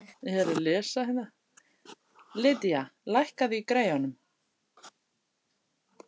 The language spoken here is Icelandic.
Lydia, lækkaðu í græjunum.